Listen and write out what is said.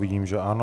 Vidím, že ano.